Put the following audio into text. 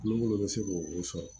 Nungolo bɛ se k'o sɔrɔ